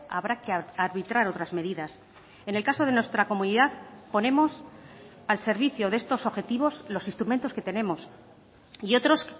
habrá que arbitrar otras medidas en el caso de nuestra comunidad ponemos al servicio de estos objetivos los instrumentos que tenemos y otros